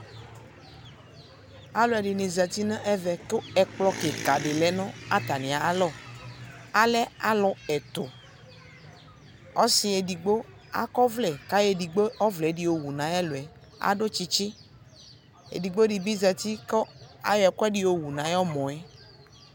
Alʋɛdɩnɩ zati nʋ ɛvɛ , kʋ ɛkplɔ kɩkadɩ lɛ nʋ atamɩ alɔ ; alɛ alʋ ɛtʋ Ɔsɩ edigbo akɔvlɛ k'ayɔ edigbo ɔvlɛɛdɩ yowu nayɛlʋɛ , k'adʋ tsitsi Edigbodɩ bɩ zati kʋ ayɔ ɛkʋɛdɩ yowu n'ayɔmɔɛ